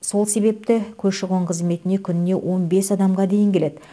сол себепті көші қон қызметіне күніне он бес адамға дейін келеді